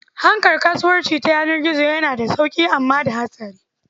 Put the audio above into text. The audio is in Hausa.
Harkar kasuwanci ta yanar gizo yana da sauƙi amma da hatsari.